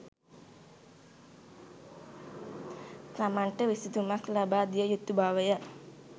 තමන්ට විසඳුමක් ලබාදිය යුතු බවය